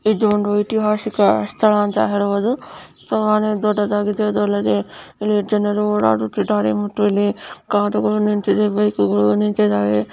ಇದೊಂದು ಇತಿಹಾಸಿಕ್ ಸ್ಥಳ ಅಂತ ಹೇಳಬಹುದು ದೊಡ್ಡದಾಗಿದೆ ಅಲ್ಲದೆ ಜನರು ಓಡಾಡುತ್ತಿದ್ದಾರೆ ಮತ್ತು ಇಲ್ಲಿ ಕಾರುಗಳು ನಿಂತಿವೆ ಬೈಕ್ ಗಳು ನಿಂತಿವೆ.